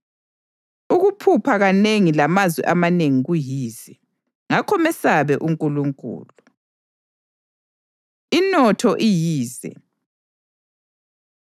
Ukuphupha kanengi lamazwi amanengi kuyize. Ngakho mesabe uNkulunkulu. Inotho Iyize